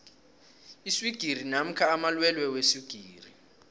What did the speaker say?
iswigiri namkha amalwelwe weswigiri